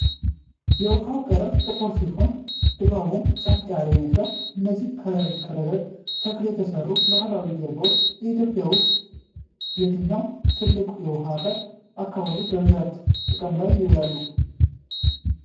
የውሃው ቀለም ጥቁር ሲሆን፣ ድባቡም ጸጥ ያለ ይመስላል። እነዚህ ከረግረግ ተክል የተሠሩ ባህላዊ ጀልባዎች በኢትዮጵያ ውስጥ የትኛው ትልቅ የውኃ አካል አካባቢ በብዛት ጥቅም ላይ ይውላሉ?